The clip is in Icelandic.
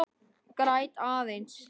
Græt aðeins.